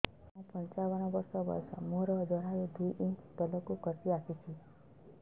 ମୁଁ ପଞ୍ଚାବନ ବର୍ଷ ବୟସ ମୋର ଜରାୟୁ ଦୁଇ ଇଞ୍ଚ ତଳକୁ ଖସି ଆସିଛି